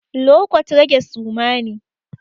Lo kwat, rage suma ne.